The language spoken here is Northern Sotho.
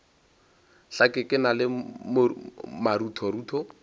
hlake ke na le maruthorutho